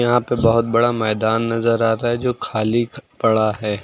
यहां पे बहोत बड़ा मैदान नजर आ रहा है जो खाली पड़ा है।